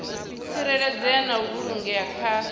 tsireledzea na u vhulungea kha